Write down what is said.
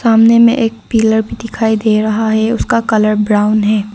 सामने में एक पिलर दिखाई दे रहा है उसका कलर ब्राउन है।